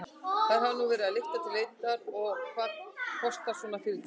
Þær hafa nú verið til lykta leiddar en hvað kostar svona fyrirtæki?